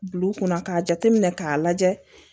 Bil'u kunna k'a jateminɛ k'a lajɛ